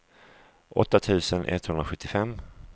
åtta tusen etthundrasjuttiofem